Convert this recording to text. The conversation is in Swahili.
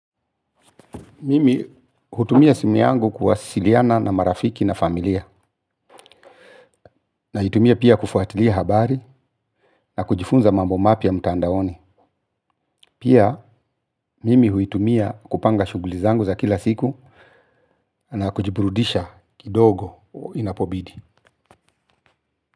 Mimi hutumia simu yangu kuwasiliana na marafiki na familia. Naitumia pia kufuatili habari na kujifunza mambo mapya mtandaoni. Pia mimi huitumia kupanga shuguli zangu za kila siku na kujiburudisha kidogo inapo bidi.